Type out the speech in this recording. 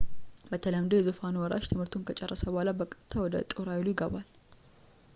በተለምዶ የዙፋኑ ወራሽ ትምህርቱን ከጨረሰ በኋላ በቀጥታ ወደ ጦር ኃይሉ ይገባል